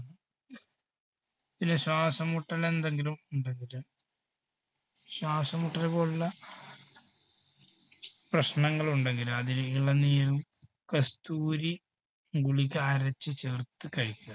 പിന്നെ ശ്വാസംമുട്ടല് എന്തെങ്കിലും ഉണ്ടെങ്കില് ശ്വാസം മുട്ടലു പോലുള്ള പ്രശ്നങ്ങൾ ഉണ്ടെങ്കില് അതിന് ഇളം നീരും കസ്തൂരി ഗുളിക അരച്ചുചേർത്ത് കഴിക്കുക.